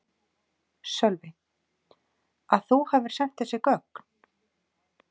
Sölvi: Að þú hafi sent þessi gögn?